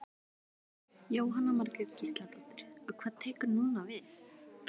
Jóhanna Margrét Gísladóttir: Og hvað tekur núna við?